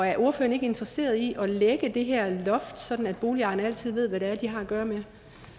er ordføreren ikke interesseret i at lægge det her loft sådan at boligejerne altid ved hvad det er de har at gøre med